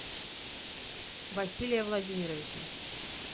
василия владимировича